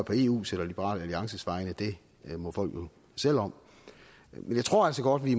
på eus eller liberal alliances vegne må folk selv om jeg tror altså godt vi i